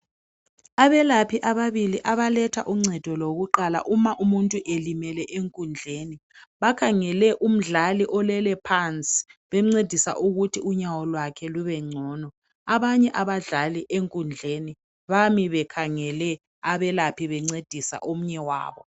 Abelaphi ababili abaletha uncedo lokuqala uma umuntu elimele enkundleni bakhangele umdlali olele phansi bemncedisa ukuthi unyawo lwakhe lube ngcono. Abanye abadlali enkundleni bami bekhangele abelaphi bencedisa omunye wabo